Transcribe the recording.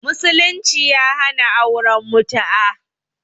Musulunci ya hana auren mutu'a